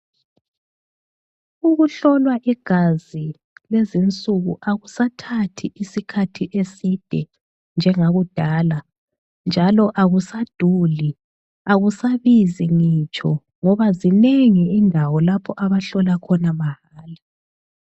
Ukuhlolwa igazi kulezi insuku akusathathi iskhathi eside njengakudala. Njalo akusaduli, akusabizi ngitsho ngoba zinengi indawo lapho abahlola khona mahala.